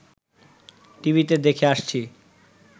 টিভিতে দেখে আসছি